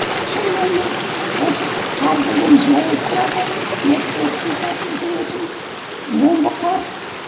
осы қар деген тұрады бетті сипап жүресің омбы қар